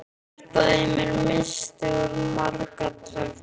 Hjartað í mér missti úr marga takta.